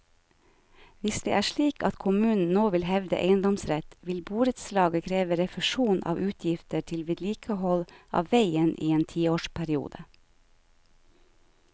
Hvis det er slik at kommunen nå vil hevde eiendomsrett, vil borettslaget kreve refusjon av utgifter til vedlikehold av veien i en tiårsperiode.